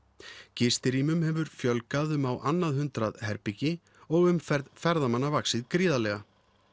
gistirýmum hefur fjölgað um á annað hundrað herbergi og umferð ferðamanna vaxið gríðarlega